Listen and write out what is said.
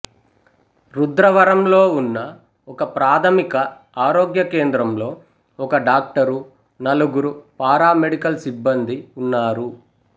రుద్రవరంలో ఉన్న ఒకప్రాథమిక ఆరోగ్య కేంద్రంలో ఒక డాక్టరు నలుగురు పారామెడికల్ సిబ్బందీ ఉన్నారు